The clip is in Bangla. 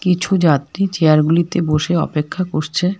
কিছু যাত্রী চেয়ারগুলিতে বসে অপেক্ষা করছে।